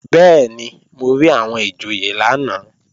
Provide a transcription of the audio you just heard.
Bẹ́ẹ̀ni, mo rí àwọn ìjòyè lánàá